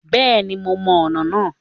Bẹ́ẹ̀ni mo mọ ọ̀nà náà